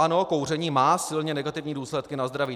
Ano, kouření má silně negativní důsledky na zdraví.